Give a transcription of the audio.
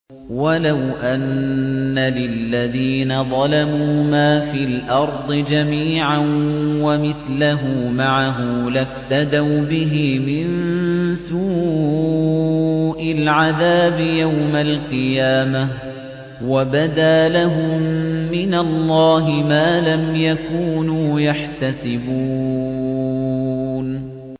وَلَوْ أَنَّ لِلَّذِينَ ظَلَمُوا مَا فِي الْأَرْضِ جَمِيعًا وَمِثْلَهُ مَعَهُ لَافْتَدَوْا بِهِ مِن سُوءِ الْعَذَابِ يَوْمَ الْقِيَامَةِ ۚ وَبَدَا لَهُم مِّنَ اللَّهِ مَا لَمْ يَكُونُوا يَحْتَسِبُونَ